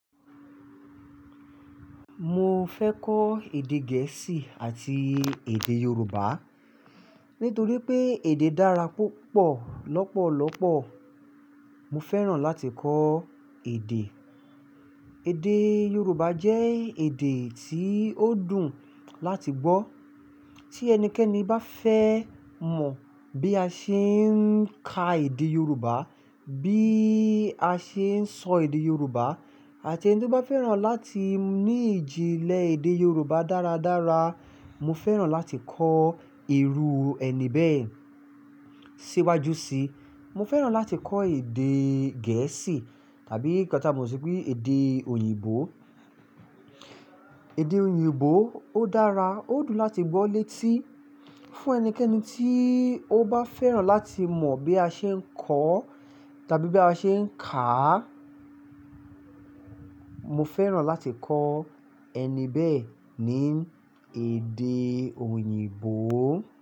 Mo fẹ́ kọ́ èdè gẹ̀ẹ́sì àti èdè Yorùbá. Nítorí pé èdè dára púpọ̀ lọ́pọ̀lọ́pọ̀. Mo fẹ́ràn láti kọ́ èdè. Èdè Yorùbá jẹ́ èdè tí ó dùn láti gbọ́. Tí ẹnikẹ́ni bá fẹ́ mọ̀ bí a ṣe ń ka èdè Yorùbá, bí a ṣe ń sọ èdè Yorùbá àti ẹni tí ó bá fẹ́ràn láti ní ìjìnlẹ̀ èdè Yorùbá dáradára, mo fẹ́ràn láti kọ́ irú ẹni bẹ́ẹ̀ síwájú síi. Mo fẹ́ràn láti kọ́ èdè gẹ̀ẹ́sì tàbí nkan tà mọ sí pé èdè òyìnbó. Èdè òyìnbó ó dára, ó dùn láti gbọ́ létí. Fún ẹnikẹ́ni tí ó bá fẹ́ràn láti mọ̀ bí a ṣe ń kọ́ tàbí bí a ṣe ń kà á, mo fẹ́ràn láti kọ́ ẹni bẹ́ẹ̀ ní èdè òyìnbó.